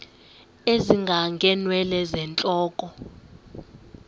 ezinga ngeenwele zentloko